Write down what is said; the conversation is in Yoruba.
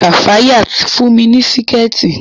Kafayat fún mi ní Síkẹ̀tí